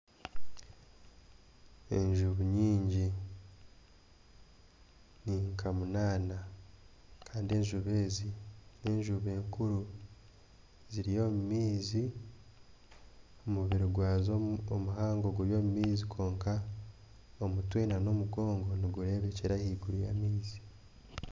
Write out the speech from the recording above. Enjubu nyingi ni nka munaana kandi enjubu ezi n'enjubu nkuru ziri omu maizi omubiri gwazo omuhango guri omu maizi kwonka omutwe nana omugongo nigureebekyera ahaiguru y'amaizi